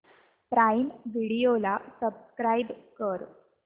prime video ला subscribe कर